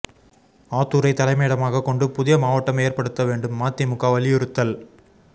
ஆத்தூரை தலைமையிடமாக கொண்டு புதிய மாவட்டம் ஏற்படுத்த வேண்டும் மதிமுக வலியுறுத்தல்